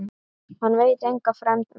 Hann veit enga fremd meiri.